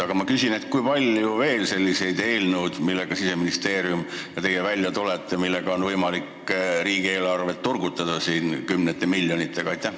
Aga ma küsin, kui palju on veel selliseid eelnõusid, millega Siseministeerium ja teie välja tulete ning millega on võimalik riigieelarvet kümnete miljonitega turgutada.